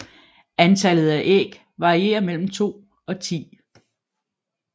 Antallet af æg varierer mellem to og ti